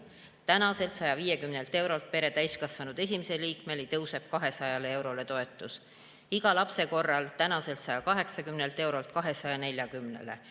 Tänaselt 150 eurolt pere täiskasvanud esimesele liikmele tõuseb 200 eurole, toetus iga lapse korral tänaselt 180 eurolt 240‑le.